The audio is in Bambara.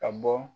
Ka bɔ